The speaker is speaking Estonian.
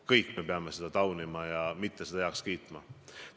Kõik me peame selliseid asju taunima ja mitte neid heaks kiitma.